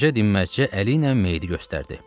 Qoca dinməzcə əli ilə meyidi göstərdi.